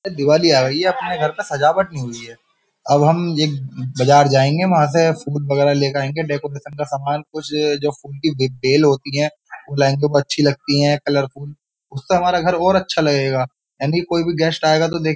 दिवाली आ गयी है अपने घर पे सजावट नहीं हुई है। अब हम एक बाजार जायेंगे वहा से फूल वगेरा लेकर आएंगे डेकोरेशन का सामान कुछ जो फूल की बेल होती है वो लायेंगे वो और अच्छी लगती है कलरफुल वो लायेंगे उससे हमारा घर और अच्छा लगेगा यानी कोई भी गेस्ट आएगा तो दे --